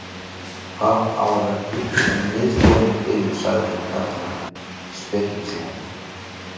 Það á að vera hiti en miðstöðin er biluð sagði hinn karlinn spekingslega.